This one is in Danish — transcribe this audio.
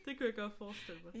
Det kunne jeg godt forestille mig